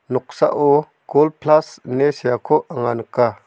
noksao gol plas ine seako anga nika.